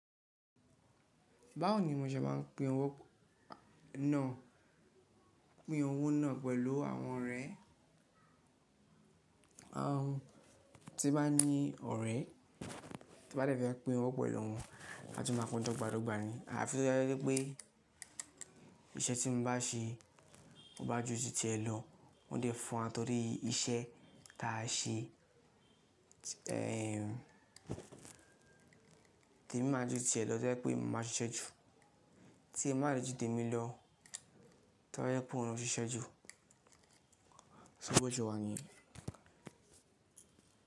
Báwo ni mo ṣe máa ń pín owó náà pín owó náà pẹ̀lú àwọn ọ̀rẹ́? Àwọn tí bá ní ọ̀rẹ́ tí ó bá rẹ̀ fẹ́ máa pín owó pẹ̀lú wọn, a jù máa pín dogbadogba ni. Àfi tí ó jẹ́ wípé iṣẹ́ tí mo bá ṣe mo bá ju tìẹ̀ lọ, wọn dẹ̀ fún wa torí iṣẹ́ tá a ṣe. Ehn, tèmi máa ju tìẹ̀ lọ torí pé mo máa ń ṣiṣẹ́ jù. Tí ẹ máa rí ju tèmi lọ, ta ni ó fẹ́ kó ṣiṣẹ́ jù? So wọ́ jọ wá ni?